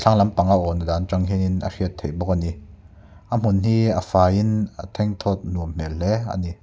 hmalam panga a awn dan a tang hian in a hriat theih bawk a ni a hmun hi a faiin a thengthawt nuam hmel hle a ni.